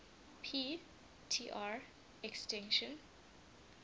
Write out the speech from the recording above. p tr extinction